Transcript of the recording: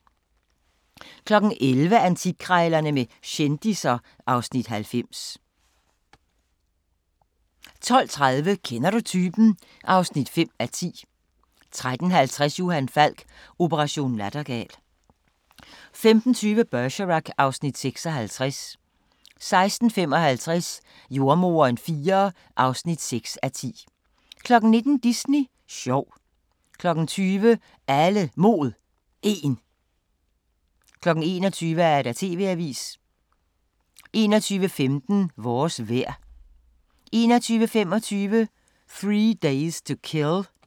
11:00: Antikkrejlerne med kendisser (Afs. 90) 12:30: Kender du typen? (5:10) 13:50: Johan Falk: Operation Nattergal 15:20: Bergerac (Afs. 56) 16:55: Jordemoderen IV (6:10) 19:00: Disney sjov 20:00: Alle Mod 1 21:00: TV-avisen 21:15: Vores vejr 21:25: 3 Days to Kill